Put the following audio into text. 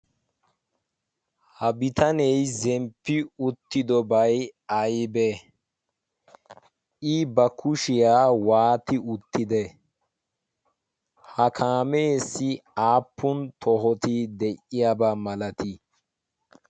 Ha bitanee zemppi uttidobay aybbe? I ba kushiyaa waatti uttide? ha kaamessi aappun tohoti de'iyaaba malati?